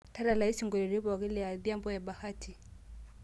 tadalayu isingolioitin pooki le adhiambo e bahati